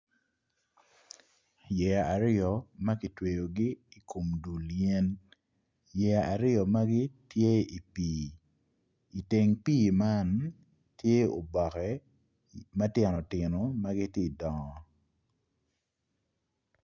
Yeya aryo ma kitweyo i kom dul yen yeya aryo magi tye i pii i teng pii man tye oboke ma tino tino ma gitye ka dongo.